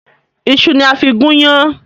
Ìṣu ni a fí gún yán.